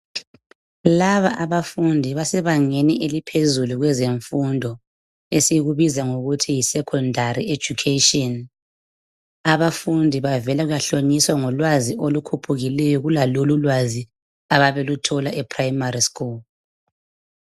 Laba abafundi basebangeni eliphezulu kwezemfundo esikubiza ngokuthi yisecondary education abafundi bavela kuyahlonyiswa ngolwazi olukhuphukileyo kulalolu ulwazi ababeluthola ePrimary school